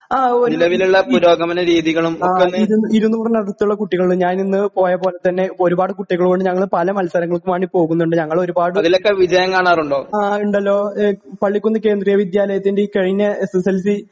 ആ ഉവ്വ് ഇ ഇ ഇരുന്നൂറിനടുത്തുള്ള കുട്ടികള് ഞാനിന്ന് പോയപോലെത്തന്നെ ഒരുപാട് കുട്ടികളുമുണ്ട് ഞങ്ങൾ പല മത്സരങ്ങൾക്ക് വാണ്ടി പോകുന്നുണ്ട് ഞങ്ങൾ ഒരുപാട്. ആ ഇണ്ടല്ലോ ഏഹ് പള്ളിക്കുന്ന് കേന്ദ്രീയ വിദ്യാലയത്തിൻ്റെ ഈ കഴിഞ്ഞ എസ് എസ് എൽ സി